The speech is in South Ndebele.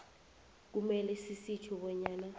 kumele sitjho bonyana